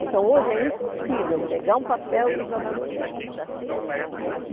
Então, hoje é impossível pegar um papel e jogar no chão.